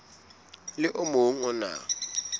le o mong o na